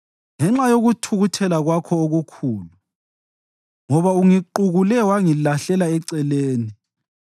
ngenxa yokuthukuthela kwakho okukhulu, ngoba ungiqukule wangilahlela eceleni.